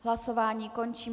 Hlasování končím.